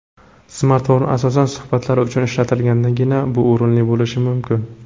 Smartfon asosan suhbatlar uchun ishlatilgandagina bu o‘rinli bo‘lishi mumkin.